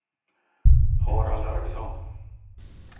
Harald Arvidsson